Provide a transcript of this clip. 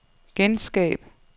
genskab